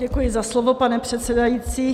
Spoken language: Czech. Děkuji za slovo, pane předsedající.